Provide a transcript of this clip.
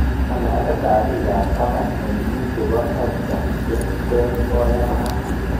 Ng'alalet ab taban eng biik chebo erta che ter koyanat?